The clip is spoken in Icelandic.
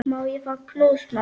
Má ég fá knús, mamma?